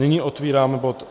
Nyní otevírám bod